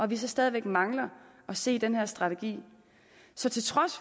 vi så stadig mangler at se den her strategi så til trods